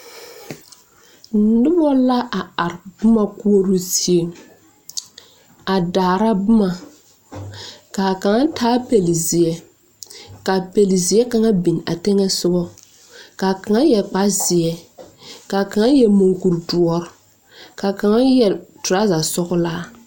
Noba la a are boma koɔrɔ zie a daara boma ka a kaŋa taa pelezeɛ ka a pelezeɛ kaŋa biŋ a teŋɛsɔgɔ ka a kaŋa yɛre kparezeɛ ka a kaŋa yɛre mukuri doɔre ka kaŋa yɛre toraza sɔglaa.